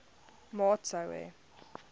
maat sou hê